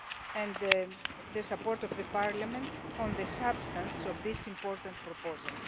and the support of Parliament on the substance of this important proposal.